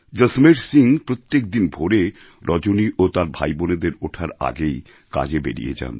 জসমের সিং প্রত্যেক দিন ভোরে রজনী ও তার ভাইবোনদের ওঠার আগেই কাজে বেরিয়ে যান